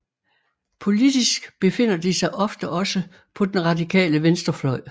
Politisk befinder de sig ofte også på den radikale venstrefløj